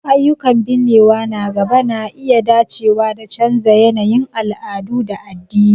Ayyukan binnewa na gaba na iya dacewa da canza yanayin al'adu da addini..